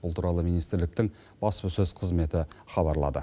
бұл туралы министрліктің баспасөз қызметі хабарлады